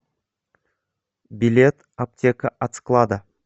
билет аптека от склада